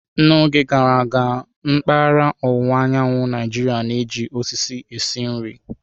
N'oge gara aga, mpaghara ọwụwa anyanwụ Naijiria na-eji osisi esi nri.